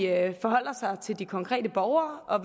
at de forholder sig til de konkrete borgere og